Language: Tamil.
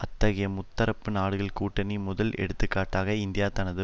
அத்தகைய முத்தரப்பு நாடுகள் கூட்டணி முதல் எடுத்துக்காட்டாக இந்தியா தனது